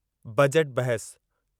budget बहसु